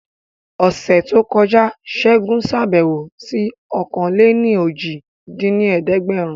Ọ̀sẹ̀ tó kọjá Segun ṣàbẹ̀wò sí ọ̀kan-lé-ní-ojì dín ní ẹ̀ẹ́dẹ́gbẹ́rún